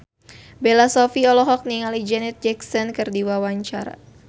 Bella Shofie olohok ningali Janet Jackson keur diwawancara